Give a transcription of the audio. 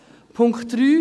Punkt 3